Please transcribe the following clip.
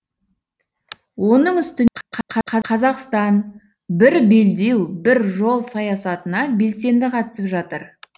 оның үстіне қазақстан бір белдеу бір жол саясатына белсенді қатысып жатыр